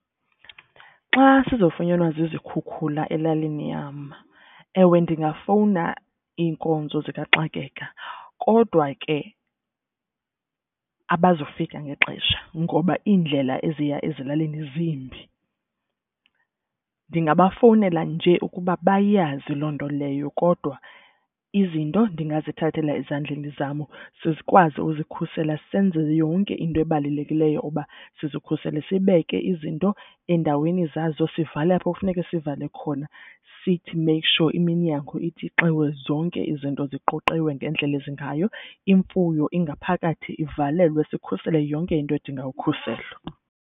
Xa sizofunyanwa zizikhukhula elalini yam, ewe, ndingafowuna iinkonzo zikaxakeka kodwa ke abazufika ngexesha ngoba iindlela eziya ezilalini zimbi. Ndingabafowunela nje ukuba bayazi loo nto leyo kodwa izinto ndingazithathela ezandleni zam ze sikwazi uzikhusela senze yonke into ebalulekileyo uba sizikhusele. Sibeke izinto endaweni zazo sivale apho kufuneke sivale khona sithi make sure iminyango itsixiwe. Zonke izinto ziqoqiwe ngendlela ezingayo imfuyo ingaphakathi ivalelwe sikhusele yonke into edinga ukukhuselwa.